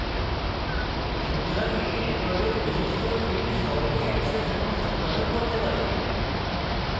সুতরাং এটা record বিশিষ্ট fields সহজেই অ্যাক্সেস এবং সম্পাদন করতে পারে